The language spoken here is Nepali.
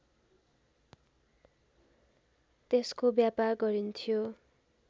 त्यसको व्यापार गरिन्थ्यो